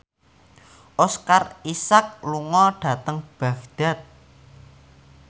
Oscar Isaac lunga dhateng Baghdad